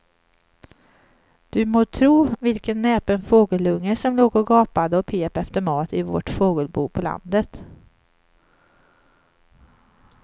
Du må tro vilken näpen fågelunge som låg och gapade och pep efter mat i vårt fågelbo på landet.